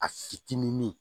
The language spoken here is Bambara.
A fitinin